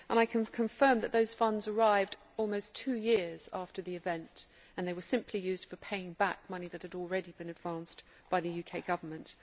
I can confirm that those funds arrived almost two years after the event and they were simply used for paying back money which had already been advanced by the UK Government.